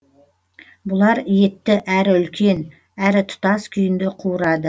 бұлар етті әрі үлкен әрі тұтас күйінде қуырады